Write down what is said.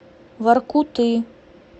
воркуты